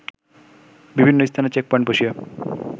বিভিন্ন স্থানে check point বসিয়ে